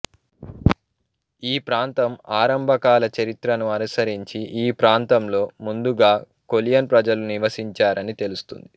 ఈ ప్రాంతం ఆరంభకాల చరిత్రను అనుసరించి ఈ ప్రాంతంలో ముందుగా కొలియన్ ప్రజలు నివసించారని తెలుస్తుంది